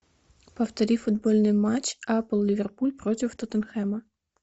повтори футбольный матч апл ливерпуль против тоттенхэма